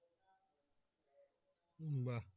বাহ